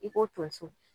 I ko tonso